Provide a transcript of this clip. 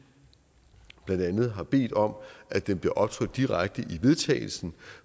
blandt andet har bedt om at den bliver optrykt direkte i vedtagelsen